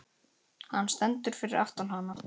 Hann stendur fyrir aftan hana.